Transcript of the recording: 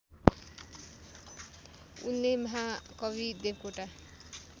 उनले महाकवि देवकोटा